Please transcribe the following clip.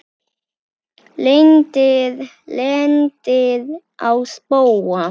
Lendir á spóa.